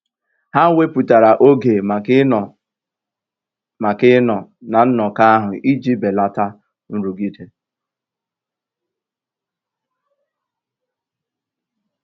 Ha wèpụ̀tàra ógè maka ị̀ Nọ́ maka ị̀ Nọ́ na nnọ́kọ́ ahụ́ ijì bèlátà nrụ́gìdè.